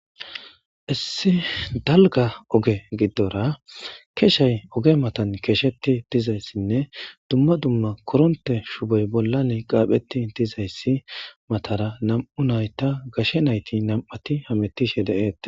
issi dalga oge giddora keeshay oge matan keeshetti dizayssinne dumma dumma koronte shuboy bollan qaapheti dizayssi matara nam7u nayta gashe nayti nam7ati hamettishe de7eete